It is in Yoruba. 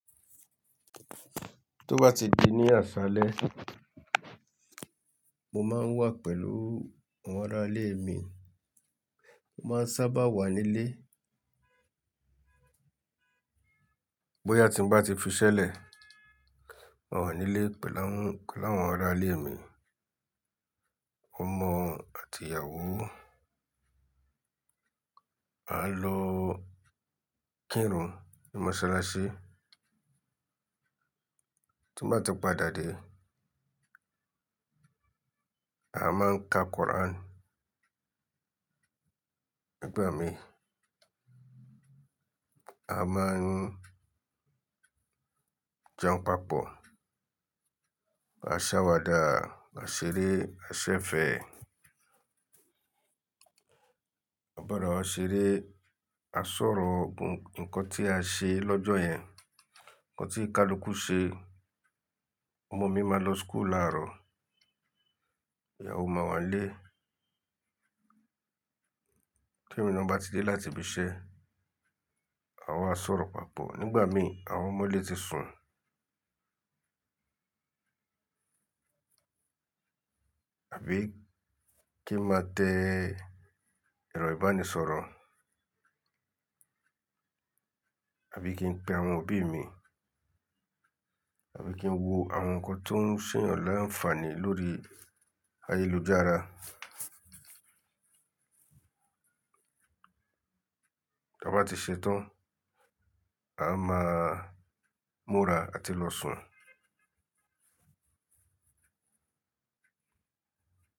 Tó bá ti di ní àṣálẹ́, mo máa ń wà pẹ̀lú àwọn ará ilé mi. Mo máa ń sábà wà nílé. Bóyá tí ń bá ti fiṣẹ́ lẹ̀, ma wà nílé pẹ̀lú àwọn ará ilé mi, ọmọ àti ìyàwó. A lọ kírun ní Mọ́sálásí. Tí mo bá ti padà dé, a máa ń ka Quran. Nígbà mí, a máa ń jẹun papọ̀. A sáwàdà, a ṣeré, a ṣẹ̀fẹ̀. A bara wá ṣeré, a sọ̀rọ̀ ńkan tí a ṣe lọ́jọ́ yẹn, ńkan tí ìkálukú ṣe. Ọmọ mi máa lọ school làárọ̀. Ìyàwó máa wà nílé. Temi na bá ti dé láti ibi iṣẹ́, a wáa sọ̀rọ̀ papọ̀. Nígbà mí, àwọn ọmọlé ti sùn. Àbí kí n máa tẹ ẹrọ̀ ìbánisọ̀rọ̀? Àbí kí n pe àwọn òbí mi? Àbí kí n wo àwọn ǹkan tó ń ṣeyàn láǹfààní lórí ayélujára? Bí a bá ti ṣetán, a máa múra àti lọ sùn.